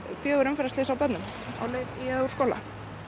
fjögur umferðarslys á börnum á leið í eða úr skóla